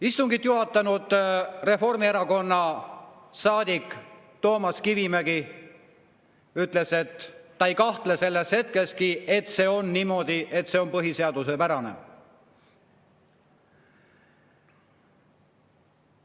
Istungit juhatanud Reformierakonna saadik Toomas Kivimägi ütles, et ta ei kahtle selles hetkekski, et see on põhiseaduspärane.